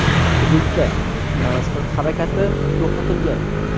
Hududda transport harakati to‘xtatilgan.